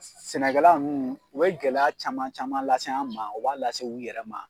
S sɛnɛkɛla nn u bɛ gɛlɛya caman caman lase an ma, u b'a lase u yɛrɛ ma.